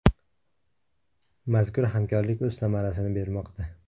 Mazkur hamkorlik o‘z samarasini bermoqda.